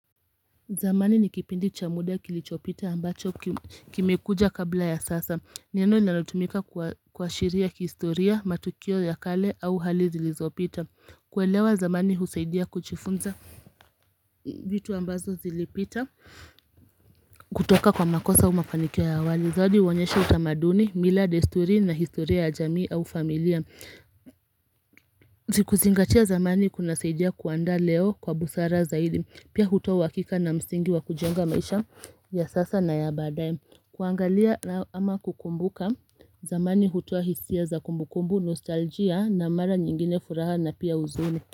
Zamani nikipindi chamuda kilichopita ambacho kimekuja kabla ya sasa neno linalotumika kwa shiria kihistoria matukio ya kale au hali zilizopita kuelewa zamani husaidia kujifunza vitu ambazo zilipita kutoka kwa makosa au mafanikiwa ya awali Zodi uonyesha utamaduni, mila, desturi na historia ya jamii au familia kuzingatia zamani kuna saidia kuanda leo kwa busara zaidi Pia huta wakika na msingi wa kujenga maisha ya sasa na ya badaaye kuangalia ama kukumbuka zamani hutua hisia za kumbukumbu, nostalgia na mara nyingine furaha na pia uzuni.